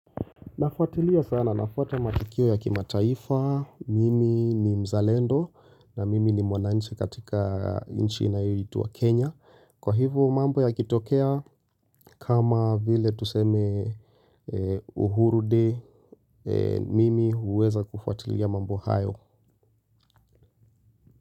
Nafuatilia sana, nafuata matukio ya kimataifa, mimi ni mzalendo na mimi ni mwananchi katika inchi inayo itwa Kenya. Kwa hivo mambo yakitokea, kama vile tuseme uhuru day, mimi huweza kufuatilia mambo hayo.